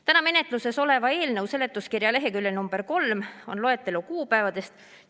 Täna menetluses oleva eelnõu seletuskirja leheküljel nr 3 on loetelu kuupäevadest.